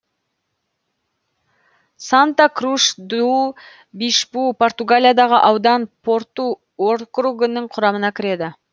санта круш ду бишпу португалиядағы аудан порту округінің құрамына кіреді